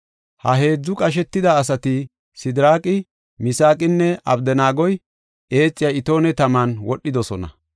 Ha heedzu qashetida asati, Sidiraaqi, Misaaqinne Abdanaagoy, eexiya itoone taman wodhidosona.